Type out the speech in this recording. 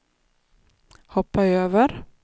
hoppa över